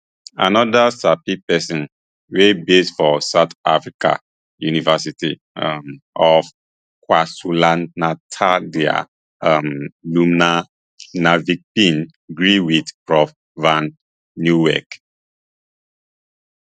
anoda sabi pesin wia base for south africas university um of kwazulunataldr um lubna nadvi bin gree wit prof van nieuwkerk